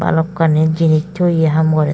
balokkani jinich toyi haam gore.